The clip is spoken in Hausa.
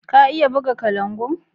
Ka iya buga kalangu?